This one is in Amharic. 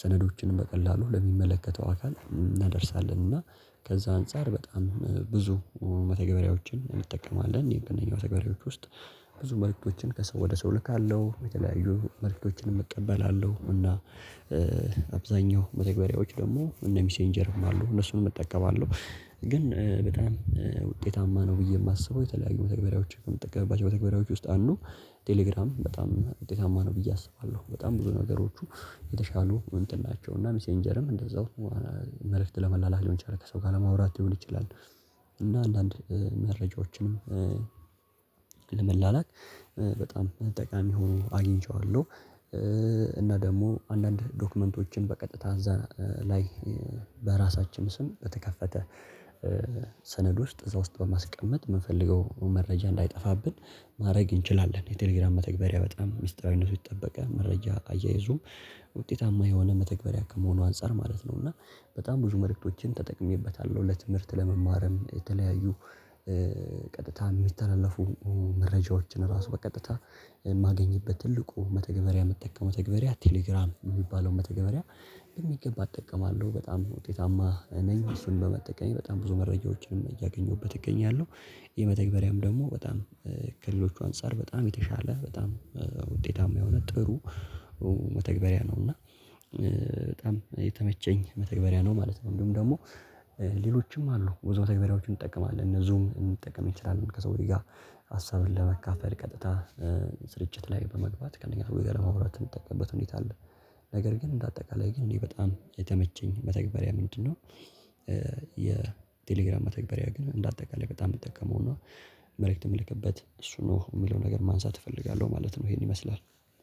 ሰነዶችንም በቀላሉ ለሚመለከተው አካል እናደርሳለን። እና ከዛ አንፃር በጣም ብዙ መተግበሪያዎችን እንጠቀማለን እኔ በእነኛው መተግበሪያዎች ውስጥ ብዙ መልእክቶችን ከሰው ወደ ሰው እልካለሁ የተለያዩ መልእክቶችን እቀበላለሁ። እና አብዛኛው መተግበሪያዎች ደግሞ እነ ሚሴንጀርም አሉ እነሱንም እጠቀማለሁ ግን በጣም ውጤታማ ነው። ብዬ የማስበው የተለያዩ መተግበሪያዎች ከምትጠቀምባቸው መተግበሪያዎች ውስጥ አንዱ ቴሌግራም በጣም ውጤታማ ነው ብዬ አስባለሁ። በጣም ብዙ ነገሮቹ የተሻሉ እንትን ናቸው። እና ሚሴንጀርም እንደዛው መልእክት ለመላላክ ሊሆን ይችላል ከሰው ጋር ለማውራት ሊሆን ይችላል። እና አንዳንድ መረጃዎችንም ለመላላክ በጣም ጠቃሚ ሆኖ አግኝቼዋለሁ። እና ደግሞ አንዳንድ ዶክመንቶችን በቀጥታ እዛ ላይ በራሳችን ስም በተከፈተ ሰነድ ውስጥ እዛ ውስጥ በማስቀመጥ የምንፈልገው መረጃ እንዳይጠፋብን ማድረግ እንችላለን። የቴሌግራም መተግበሪያ በጣም ሚስጥራዊነቱ የተጠበቀ መረጃ አያይዙም ውጤታማ የሆነ መተግበሪያ ከመሆኑ አንፃር ማለት ነው። እና በጣም ብዙ መልእክቶችን ተጠቅሜበታለሁ። ለትምህርት ለመማርም የተለያዩ ቀጥታ የሚተላለፉ መረጃዎችን ራሱ በቀጥታ የማገኝበት ትልቁ መተግበሪያ መጠቀም መተግበሪያ ቴሌግራም የሚባለው መተግበሪያ በሚገባ እጠቀማለሁ። በጣም ውጤታማ ኔኝ እሱን በመጠቀም በጣም ብዙ መረጃዎችንም እያገኘሁበት እገኛለሁ። የመተግበሪያም ደግሞ በጣም ከሌሎቹ አንፃር በጣም የተሻለ በጣም ውጤታማ የሆነ ጥሩ መተግበሪያ ነው። እና በጣም የተመቸን መተግበሪያ ነው። ማለት እንዲሁም ደግሞ ሌሎችም አሉ ብዙ መተግበሪያዎችን እንጠቀማለን እነ ዙም ልንጠቀም ይችላል። ከሰው ጋር ሀሳብን ለመካፈል ቀጥታ ስርጭት ላይ በመግባት ከነኛ ጋር ለመውራት የምጠቀምበት ሁኔታ አለ። ነገር ግን እንደ አጠቃላይ ግን እኔ በጣም የተመቸኝ መተግበሪያ ምንድነው? የቴሌግራም መተግበሪያ ግን እንደ አጠቃላይ በጣም የምጠቀመው እና መልእክት የምልክበት እሱ ነው የምለው ነገር ማንሳት እፈልጋለሁ ማለት ነው። ይሄን ይመስላል።